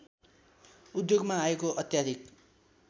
उद्योगमा आएको अत्याधिक